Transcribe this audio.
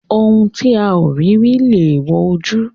Ohun tí a ò rí rí lèèwọ̀ ojú.